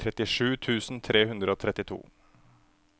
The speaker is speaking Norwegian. trettisju tusen tre hundre og trettito